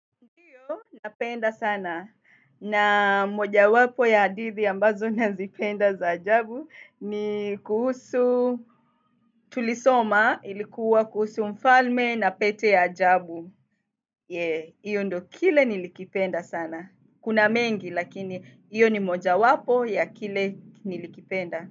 Napenda sana. Na moja wapo ya hadithi ambazo nazipenda za ajabu ni kuhusu tulisoma ilikuwa kuhusu mfalme na pete ya ajabu. Eeeeeee Iyo ndo kile nilikipenda sana. Kuna mengi lakini hiyo ni moja wapo ya kile nilikipenda.